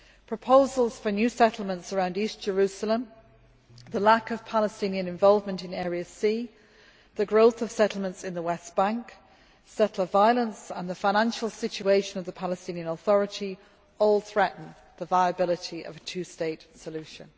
Proposals for new settlements around East Jerusalem, the lack of Palestinian involvement in Area C, the growth of settlements in the West Bank, settler violence and the financial situation of the Palestinian Authority all threaten the viability of a two state solution.